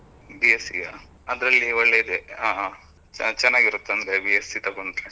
B.Sc yeah, ಅದ್ರಲ್ಲಿ ಒಳ್ಳೆ ಇದೆ. ಹಾ ಹಾ ಹಾ ಚೆನ್ನಾಗಿರುತ್ತೆ, ಅಂದ್ರೆ B.Sc ತಗೊಂಡ್ರೆ.